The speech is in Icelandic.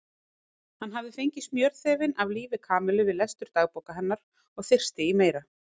Hann hafði fengið smjörþefinn af lífi Kamillu við lestur dagbóka hennar og þyrsti í meira.